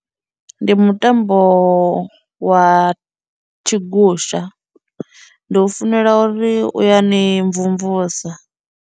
Ndi mutambo wa tshigusha ndi u funela uri u ya ni mvumvusa.